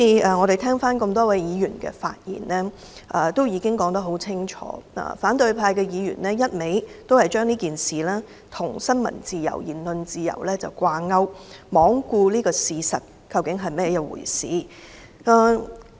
我聆聽了多位議員的發言，大家已經說得很清楚，反對派議員一味將這事件與新聞自由和言論自由掛鈎，罔顧事實究竟是怎麼一回事。